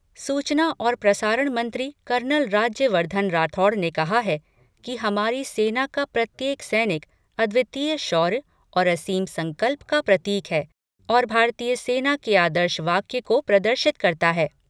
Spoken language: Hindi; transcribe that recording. सूचना और प्रसारण मंत्री कर्नल राज्य वर्धन राठौड़ ने कहा है कि हमारी सेना का प्रत्येक सैनिक अद्वितीय शौर्य और असीम संकल्प का प्रतीक है और भारतीय सेना के आदर्श वाक्य को प्रदर्शित करता है।